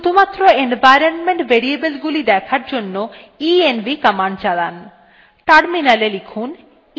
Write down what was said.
শুধুমাত্র environment variableগুলি দেখার জন্য env command চালান